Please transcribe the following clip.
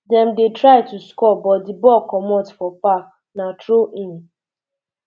dem dey try to score but di ball comot for um park na throw in